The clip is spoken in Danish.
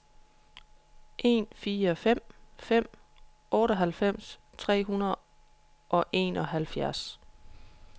en fire fem fem otteoghalvfems tre hundrede og enoghalvfjerds